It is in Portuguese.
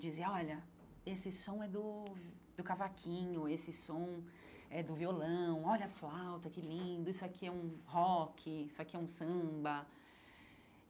Dizia, olha, esse som é do do cavaquinho, esse som é do violão, olha a flauta, que lindo, isso aqui é um rock, isso aqui é um samba.